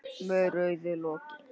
Með rauðu loki.